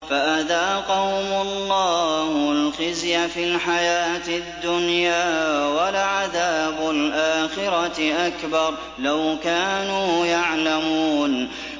فَأَذَاقَهُمُ اللَّهُ الْخِزْيَ فِي الْحَيَاةِ الدُّنْيَا ۖ وَلَعَذَابُ الْآخِرَةِ أَكْبَرُ ۚ لَوْ كَانُوا يَعْلَمُونَ